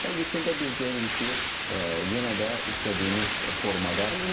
Və yekunda biz görürük ki, yenə də istədiyimiz formada cavablandırıblar.